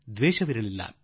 ದ್ವೇಷ ಕಾಣಲಿಲ್ಲ